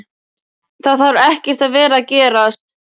Það þarf ekkert að vera að gerast.